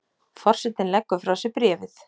Forsetinn leggur frá sér bréfið.